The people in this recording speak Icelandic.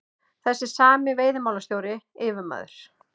Þessi sami veiðimálastjóri, yfirmaður